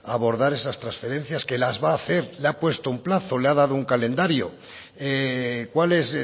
a abordar esas transferencias que las va a hacer le ha puesto un plazo le ha dado un calendario cuál es